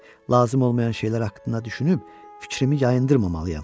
Lazım olmayan şeylər haqqında düşünüb fikrimi yayındırmamalıyam.